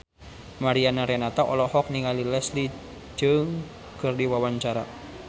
Mariana Renata olohok ningali Leslie Cheung keur diwawancara